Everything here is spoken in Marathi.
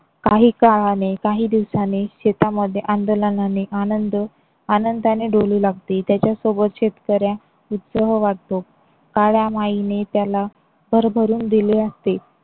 काही काळाने काही दिवसाने शेतामध्ये आंदोलनाने आनंद आनंदाने डोलू लागते. त्याच्या सोबत शेतकरे उत्सह वाटतो. काळ्या माहीने त्याला भरभरून दिले असते.